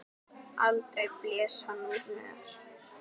Aldrei blés hann úr nös.